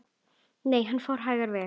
Nei, hann fór hægar yfir.